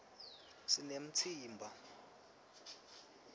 sinemtsimba